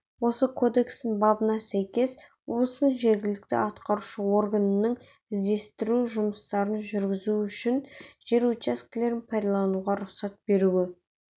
осы кодекстің бабына сәйкес облыстың жергілікті атқарушы органының іздестіру жұмыстарын жүргізу үшін жер учаскелерін пайдалануға рұқсат беруі